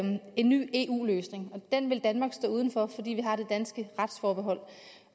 en ny eu løsning og den ville danmark står uden for fordi vi har det danske retsforbehold